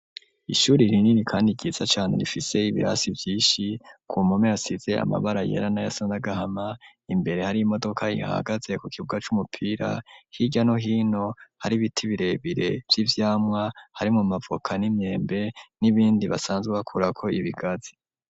Ishuri rinini kandi ryiza cane rifise ibirasi vyishi ku mpome hasize amabara yera na yasa n'agahama imbere hari imodoka ihagaze ku kibuga c'umupira hirya no hino hari ibiti birebire vy'ivyamwa hari mu mavuka n'imyembe n'ibindi basanzwe bakurako ibigazi.